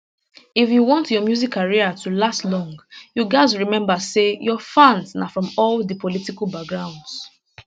if you want your music career to last long you gatz remember say your fans na from all di political backgrounds